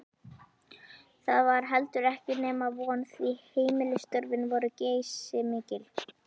Það var heldur ekki nema von, því heimilisstörfin voru geysimikil.